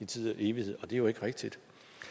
tid og evighed og det er jo ikke rigtigt